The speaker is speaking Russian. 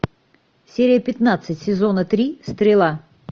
серия пятнадцать сезона три стрела